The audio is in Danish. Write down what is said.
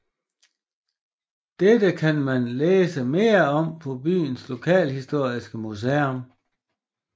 Dette kan man lære mere om på byens lokalhistoriske museum